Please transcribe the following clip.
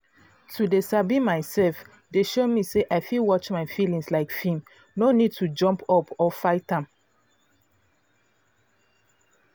to dey sabi myself don show me say i fit watch my feelings like film no need to jump up or fight am